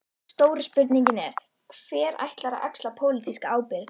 Stóra spurningin er: Hver ætlar að axla pólitíska ábyrgð?